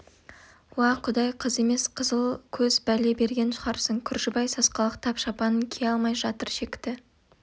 уа құдай қыз емес қызыл көз бәле берген шығарсың күржібай сасқалақтап шапанын кие алмай жатыр шекті